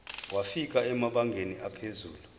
wafika emabangeni aphezulu